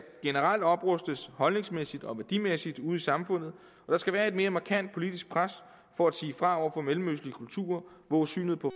generelt oprustes holdningsmæssigt og værdimæssigt ude i samfundet der skal være et mere markant politisk pres for at sige fra over for mellemøstlige kulturer hvor synet på